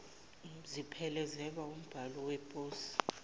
ziphelezelwe wumbhalo weposi